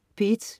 P1: